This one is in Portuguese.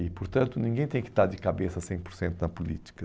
E, portanto, ninguém tem que estar de cabeça cem por cento na política.